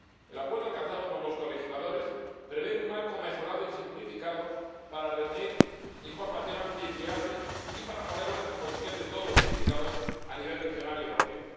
El acuerdo alcanzado por los colegisladores prevé un marco mejorado y simplificado para reunir información amplia y fiable y para ponerla a disposición de todos los implicados a nivel regional y europeo.